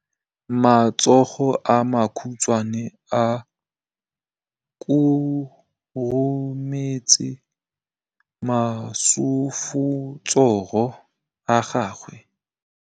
Matsogo a makhutshwane a khurumetsa masufutsogo a gago.